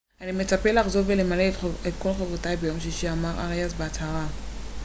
אני מצפה לחזור ולמלא את כל חובותיי ביום שני אמר אריאס בהצהרה